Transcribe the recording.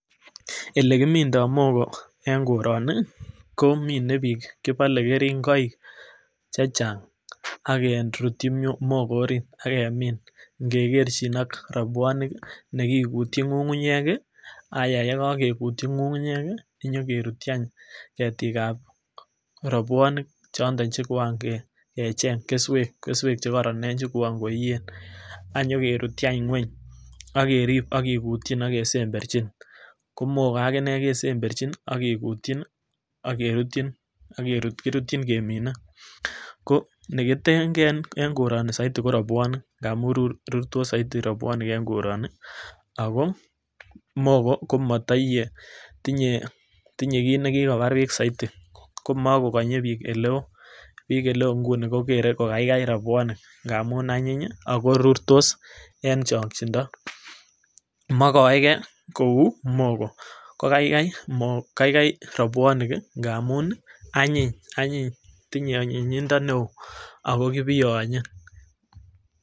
Ele kimindo mogo en koroni ko mine bik kipole keringoik chechang ak kerutyi mogo orit ak kemin ikekerchin ak robuonik nekikutyin ngungunyek kii ayaa yekokigutyi ngungunyek kii inyokerutyi anch ketik ab robuonik chondok chekoan kecheng kesuek, kesuek che koron chekoan koiyen anyokerutyi anch ngueny ak kerib ak kikutyin ak kesemberchin ko mogo kesemberjin nii ak kikutchin ak kerutchin akerutyi kiruchin kemine. Ko neketengee en koroni soiti ko robuonik ngamun rurtos soiti robuonik en koroni ako mogo ko motoiyee tinyee tinye kit nekikobar bik soiti komekokonye bik oleo bik oleo inguni kokere ko kaikai robuonik ngamun anyiny hii ako korurtos en chongindo mokoe gee kou mogo ko kaikai kaikai robuonik ngamun anyiny anyiny tinyee anyinyindo neo ako kibiyonye.